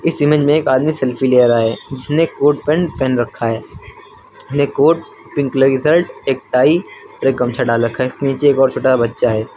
इस इमेज में एक आदमी सेल्फी ले रहा है जिसने कोट पेंट पहन रखा है ब्लैक कोट पिंक कलर कि शर्ट एक टाई और एक गमछा डाल रखा इसके नीचे एक और छोटा सा बच्चा है।